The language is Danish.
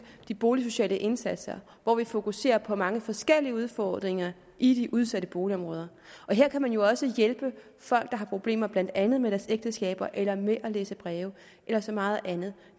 de boligsociale indsatser hvor vi fokuserer på mange forskellige udfordringer i de udsatte boligområder her kan man jo også hjælpe folk der har problemer blandt andet med deres ægteskab eller med at læse breve eller så meget andet